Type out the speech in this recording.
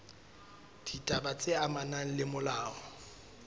ditaba tse amanang le molao